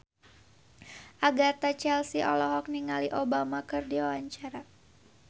Agatha Chelsea olohok ningali Obama keur diwawancara